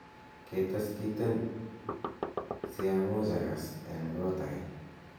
ketes kiten si smuch agas en koot age